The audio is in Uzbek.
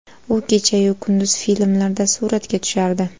U kecha-yu kunduz filmlarda suratga tushardi.